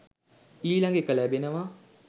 ඊළඟ එක ලැබෙනවා